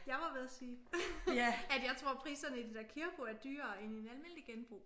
Jeg var ved at sige at jeg tror priserne i det der Kirppu er dyrere end i en almindelig genbrug